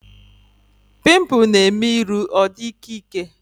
Pimpụl na-eme iru ọ dị ịkẹ́ ịkẹ́